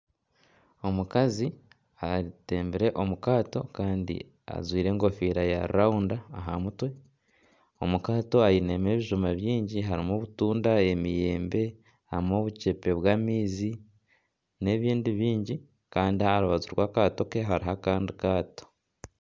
Omukazi atembire omukaato kandi ajwire enkofiira ya rawunda aha mutwe, omu kaato ainemu ebijuma bingi ainemu obutunda emiyembe harimu obuceepe bw'amaizi n'ebindi bingi kandi aha rubaju rw'akaato ke hariho akandi kaato